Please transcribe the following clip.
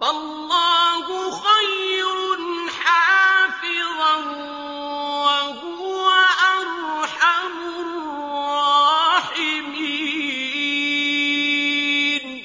فَاللَّهُ خَيْرٌ حَافِظًا ۖ وَهُوَ أَرْحَمُ الرَّاحِمِينَ